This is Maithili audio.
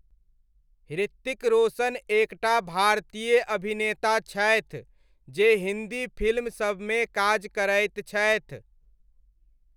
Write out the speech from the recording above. हृतिक रोशन एक टा भारतीय अभिनेता छथि जे हिन्दी फिल्म सबमे काज करैत छथि।